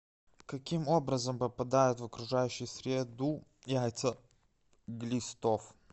каким образом попадают в окружающую среду яйца глистов